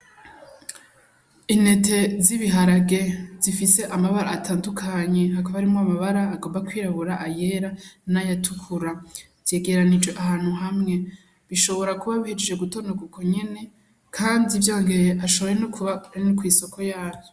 Intete z'ibiharage zifise amabara atandukanye, hakaba harimwo amabara agomba kwirabura ayera n'ayatukura zegeranirijwe ahantu hamwe bishobora kuba bihejeje gutonogwa ukunyene kandi vyongeye ashonora no kuba ari no kwisoko yavyo.